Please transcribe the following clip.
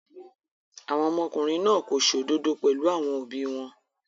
Àwọn ọmọkùnrin náà kò ṣòdodod pẹ̀lú àwọn òbí wọn.